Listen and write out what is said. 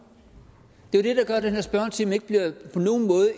det er jo det der gør at den her spørgetime